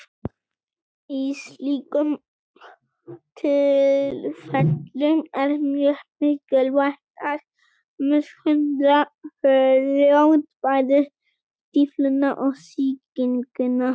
Í slíkum tilfellum er mjög mikilvægt að meðhöndla fljótt bæði stífluna og sýkinguna.